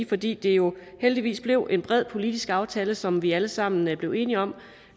fordi det jo heldigvis blev en bred politisk aftale som vi alle sammen blev enige om